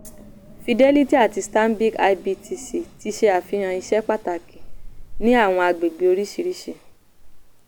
fidelity àti stanbic ibtc ti ṣe àfihàn iṣẹ́ pàtàkì ní àwọn àgbègbè oríṣiríṣi.